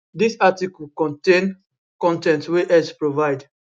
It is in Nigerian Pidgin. dis article contain contain con ten t wey x provide